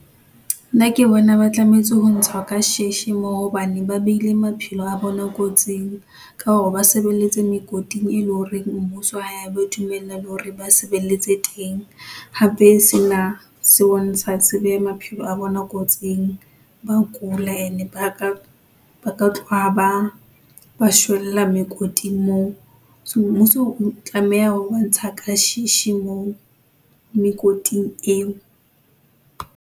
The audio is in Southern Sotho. Nna ke bona ba tlametse ho ntshwa ka sheshe moo hobane ba beile maphelo a bona kotsing, ka hore ba sebeletse mekoting, e leng hore mmuso ha ya ba dumella hore ba sebeletse teng. Hape se na se bontsha se beha maphelo a bona kotsing. Ba kula ene ba ka, ba ka tloha ba shwella mekoting moo, so mmuso o tlameha ho ba ntsha ka sheshe moo, mekoting eo.